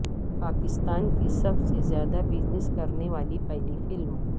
پاکستان کی سب سے زیادہ بزنس کرنے والی پہلی فلم